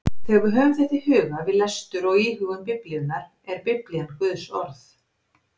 Þegar við höfum þetta í huga við lestur og íhugun Biblíunnar er Biblían Guðs orð.